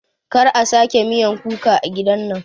Kar a sake miyan kuka a gidan nan